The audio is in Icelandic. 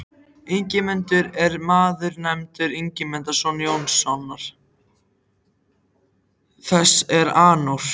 Ingimundur er maður nefndur Ingimundarson Jónssonar, þess er Arnór